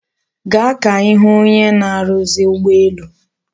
Gaa ka ihu onye na-aruzi ugboelu